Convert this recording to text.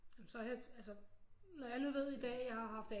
Altså når alle ved nu i dag at jeg har haft